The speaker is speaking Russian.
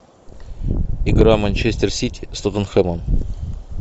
игра манчестер сити с тоттенхэмом